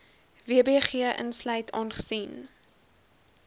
wbg insluit aangesien